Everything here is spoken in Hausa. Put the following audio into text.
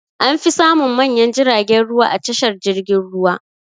An fi samun manyan jiragen ruwa a tashar jirgin ruwa.